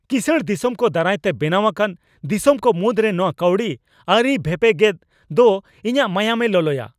ᱠᱤᱥᱟᱹᱬ ᱫᱤᱥᱚᱢᱠᱚ ᱫᱟᱨᱟᱭᱛᱮ ᱵᱮᱱᱟᱣ ᱟᱠᱟᱱ ᱫᱤᱥᱚᱢ ᱠᱚ ᱢᱩᱫᱨᱮ ᱱᱚᱶᱟ ᱠᱟᱹᱣᱰᱤ ᱟᱹᱨᱤ ᱵᱷᱮᱯᱮᱜᱮᱫ ᱫᱚ ᱤᱧᱟᱹᱜ ᱢᱟᱭᱟᱢᱮ ᱞᱚᱞᱚᱭᱟ ᱾